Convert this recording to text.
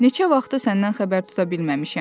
neçə vaxtdır səndən xəbər tuta bilməmişəm.